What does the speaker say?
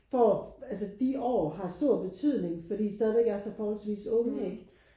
Får altså de år har stor betydning fordi I stadigvæk er så forholdsvis unge ikke?